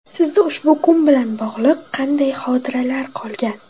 Sizda ushbu kun bilan bog‘liq qanday xotiralar qolgan?.